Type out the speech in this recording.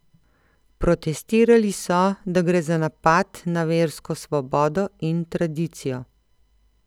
Protestirali so, da gre za napad na versko svobodo in tradicijo.